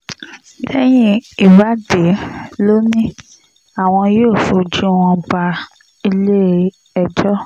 lẹ́yìn ìwádìí ló ní àwọn yóò fojú wọn bá ilé-ẹjọ́